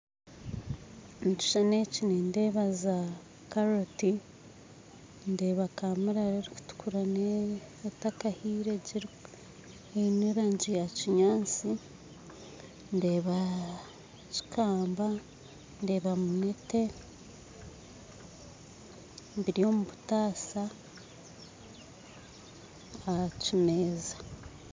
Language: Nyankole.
Omukishushani eki nindeeba zaakaroti, ndeeba cukamba, ndeeba kamurari erikutukura neya kinyatsi, ndeeba munete biri omu butaasa ahakimeeza.